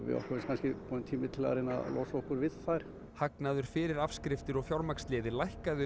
okkur finnst kannski kominn tími til að losa okkur við þær hagnaður fyrir afskriftir og fjármagnsliði lækkaði